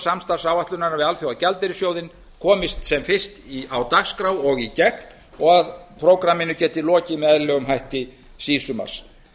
samstarfsáætlunarinnar við alþjóðagjaldeyrissjóðinn komist sem fyrst á dagskrá og í gegn og að prógramminu geti lokið með eðlilegum hætti síðsumars